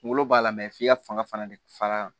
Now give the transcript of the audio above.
Kunkolo b'a la f'i ka fanga fana de fara